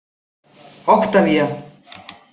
Oktavía